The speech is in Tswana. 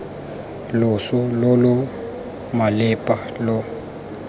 loso lo lo malepa lo